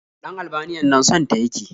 Ɗan Albaniyan nan son ta ya ke